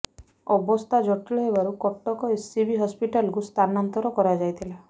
ଅବସ୍ଥା ଜଟିଳ ହେବାରୁ କଟକ ଏସ୍ସିବି ହସ୍ପିଟାଲକୁ ସ୍ଥାନାନ୍ତର କରାଯାଇଥିଲା